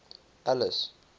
alice